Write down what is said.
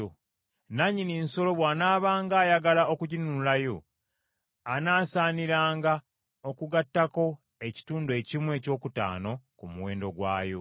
Nannyini nsolo bw’anaabanga ayagala okuginunulayo, anaasaniranga okugattako ekitundu ekimu ekyokutaano ku muwendo gwayo.